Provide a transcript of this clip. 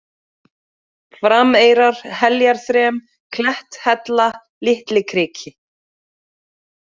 Frameyrar, Heljarþrem, Kletthella, Litlikriki